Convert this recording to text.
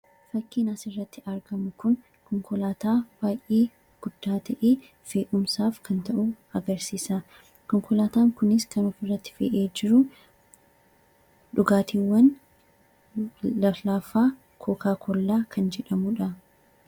Suuraa kanaa gadii irraa kan mul'atu kun konkolaataa guddaa fe'umsaaf tajaajiluu dha. Konkolaataan kunis kan of irratti fe'ee jiru dhugaatii lallaafaa fi kokaa kollaa dha.